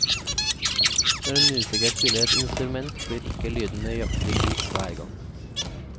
Når en musiker spiller et instrument, blir ikke lyden nøyaktig lik hver gang.